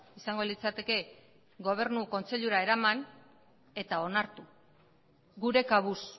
izango litzateke gobernu kontseilura eraman eta onartu gure kabuz